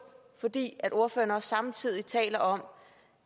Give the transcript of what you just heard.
fordi ordføreren samtidig taler om